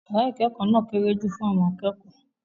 Yàrá ìkẹ́kọ̀ọ́ náà kéré jù fún àwọn akẹ́kọ̀ọ́.